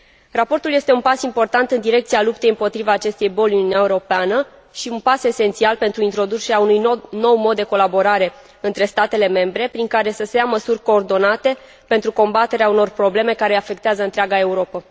Raportul este un pas important în direcția luptei împotriva acestei boli în Uniunea Europeană și un pas esențial pentru introducerea unui nou mod de colaborare între statele membre, prin care să se ia măsuri coordonate pentru combaterea unor probleme care afectează întreaga Europă.